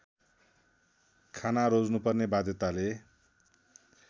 खाना रोज्नुपर्ने वाध्यताले